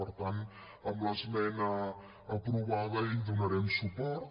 per tant amb l’esmena aprovada hi donarem suport